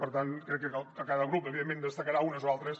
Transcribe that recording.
per tant crec que cada grup evidentment en destacarà unes o altres